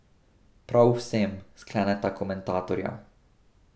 Prav vsem, skleneta komentatorja.